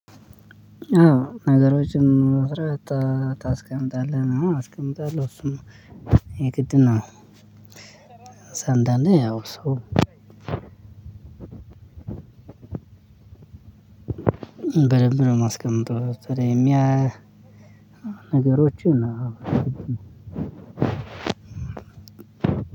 አዎ ነገሮችን በስረአት ታስቀምጣለህ? አዎ አስቀምጣለሁ እሱም የግድ ነው። እዛ አንዳንዴ ያው ሰው በደንብ ነው የማስቀምጠው። በተለይ የሚያ ነገሮችን አዎ